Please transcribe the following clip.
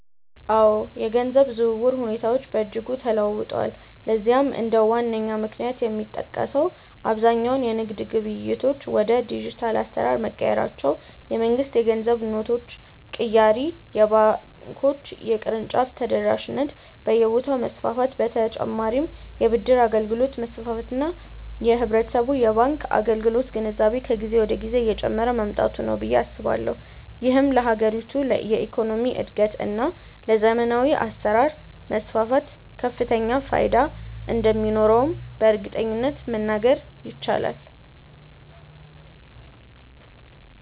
አዎ፣ የገንዘብ ዝውውር ሁኔታዎች በእጅጉ ተለውጠዋል። ለዚህም እንደ ዋነኛ ምክንያት የሚጠቀሰው አብዛኛው የንግድ ግብይቶች ወደ ዲጂታል አሰራር መቀየራቸው፣ የመንግስት የገንዘብ ኖቶች ቅያሬ፣ የባንኮች የቅርንጫፍ ተደራሽነት በየቦታው መስፋፋት በ ተጨማርም የ ብድር አገልግሎት መስፋፋት እና የህብረተሰቡ የባንክ አገልግሎት ግንዛቤ ከጊዜ ወደ ጊዜ እየጨመረ መምጣቱ ነው ብዬ አስባለሁ። ይህም ለሀገሪቱ የኢኮኖሚ እድገት እና ለዘመናዊ አሰራር መስፋፋት ከፍተኛ ፋይዳ እንደሚኖረውም በእርግጠኝነት መናገር ይቻላል።